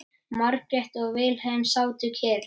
Margrét og Vilhelm sátu kyrr.